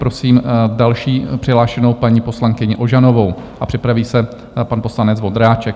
Prosím další přihlášenou, paní poslankyni Ožanovou, a připraví se pan poslanec Vondráček.